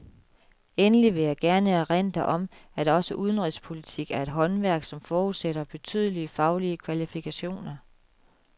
Endelig vil jeg gerne erindre om, at også udenrigspolitik er et håndværk, som forudsætter betydelige faglige kvalifikationer.